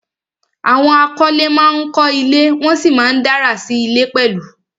Àwọn akọ́lé ma ń kọ́ ilé, wọ́n sì ma ń dárà sí ilé pẹ̀lú